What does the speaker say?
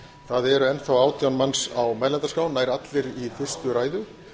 það er enn þá átján manns á mælendaskrá nær allir í fyrstu ræðu